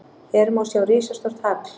Hér má sjá risastórt hagl!